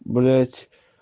блядь